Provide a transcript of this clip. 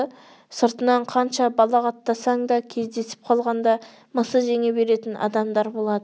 сыртынан қанша балағаттасаң да кездесіп қалғанда мысы жеңе беретін адамдар болады